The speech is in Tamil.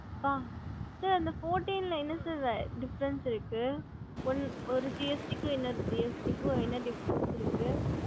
Fourteen typs diffrend இருக்கு mam gst what diffrend